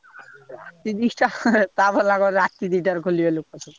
ରାତି ଦିଟା ତା ଭଲା କଣ ରାତି ଦିଟାରେ ଖୋଲିବେ ଲୋକ।